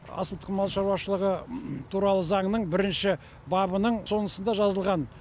асыл тұқым мал шаруашылығы туралы заңның бірінші бабының соңысында жазылған